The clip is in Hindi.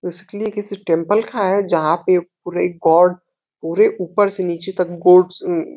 बेसिकली ये किसी टेम्पल का है जहां पे पूरे गॉड पूरे ऊपर से नीचे तक गोड्स म्मम --